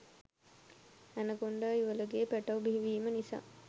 anaconda යුවළගේ පැටව් බිහි වීම නිසා